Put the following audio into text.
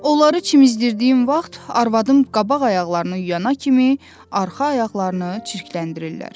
Onları çimizdirdiyim vaxt arvadım qabaq ayaqlarını yuyana kimi arxa ayaqlarını çirkləndirirlər.